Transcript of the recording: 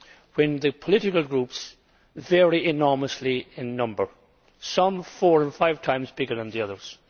when the political groups vary enormously in size, with some four or five times bigger than the others.